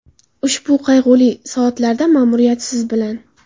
Ushbu qayg‘uli soatlarda ma’muriyat siz bilan.